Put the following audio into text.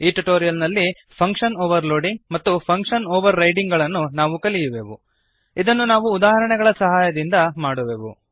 ಈ ಟ್ಯುಟೋರಿಯಲ್ ನಲ್ಲಿ function overloading ಮತ್ತು ಫಂಕ್ಶನ್ ಓವರ್ರೈಡಿಂಗ್ ಗಳನ್ನು ನಾವು ಕಲಿಯುವೆವು ನಾವು ಇದನ್ನು ಉದಾಹರಣೆಗಳ ಸಹಾಯದಿಂದ ಮಾಡುವೆವು